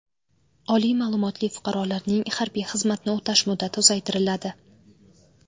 Oliy ma’lumotli fuqarolarning harbiy xizmatni o‘tash muddati uzaytiriladi.